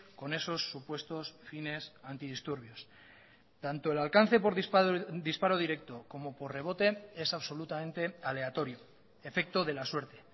con esos supuestos fines antidisturbios tanto el alcance por disparo directo como por rebote es absolutamente aleatorio efecto de la suerte